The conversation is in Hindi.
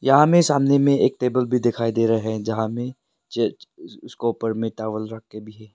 यहां में सामने में एक टेबल भी दिखाई दे रहे हैं जहां में उसके ऊपर टॉवल रख के भी है।